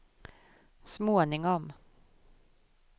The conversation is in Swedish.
småningom